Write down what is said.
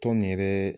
Tɔn nin yɛrɛ